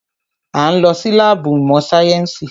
A ń lọ sí láàbù ìmọ̀ sáyẹ́nsì.